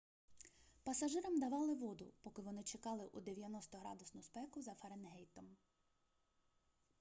пасажирам давали воду поки вони чекали у 90-градусну спеку за фаренгейтом